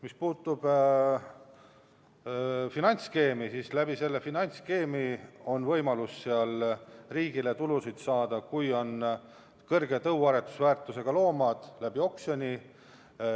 Mis puutub finantsskeemi, siis selle finantsskeemiga on võimalus riigil tulusid saada, kui on kõrge tõuaretusväärtusega loomad, oksjonil.